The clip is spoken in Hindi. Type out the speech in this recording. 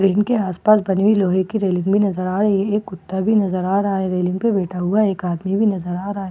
ट्रेन के आस-पास बनी हुई लोहे की रेलिंगे नजर आ रही हैं एक कुत्ता भी नजर आ रहा है रेलिंग पे बैठा हुआ एक आदमी भी नजर आ रहा है।